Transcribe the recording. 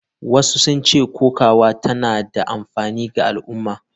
Wasu sun ce kokawa tana da amfani ga al’umma.